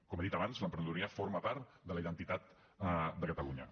com he dit abans l’emprenedoria forma part de la identitat de catalunya